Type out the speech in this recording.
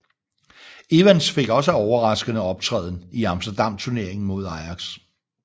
Evans fik også en overraskende optræden i Amsterdam Turneringen mod Ajax